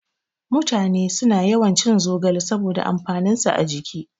Mutane suna yawan cin zogale saboda amfanin sa a jiki